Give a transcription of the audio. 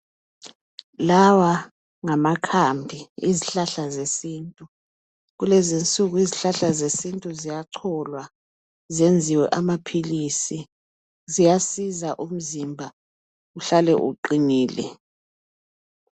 Lawa ngamakhambi ezihlahla zesintu. Kulezinsuku izihlahla zesintu zingacholwa zenziwe amaphilisi. Ziyasiza ukuthi umzimba uhlale uqinile.